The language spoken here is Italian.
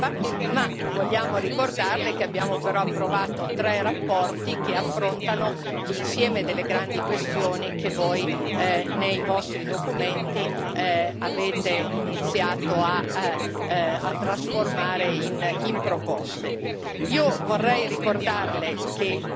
su questo pacchetto sul futuro dell'Europa, ma vogliamo ricordarle che abbiamo approvato tre relazioni che affrontano l'insieme delle grandi questioni che voi, nei vostri documenti, avete iniziato a trasformare in proposte.